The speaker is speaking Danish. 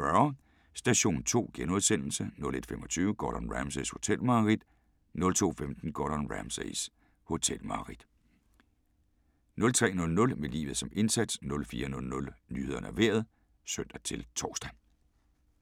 00:40: Station 2 * 01:25: Gordon Ramsays hotelmareridt 02:15: Gordon Ramsays hotelmareridt 03:00: Med livet som indsats 04:00: Nyhederne og Vejret (søn-tor)